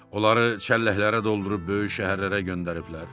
Onları çəlləklərə doldurub böyük şəhərlərə göndəriblər.